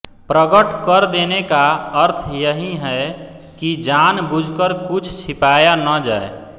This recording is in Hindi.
प्रगट कर देने का अर्थ यही है कि जान बूझकर कुछ छिपाया न जाए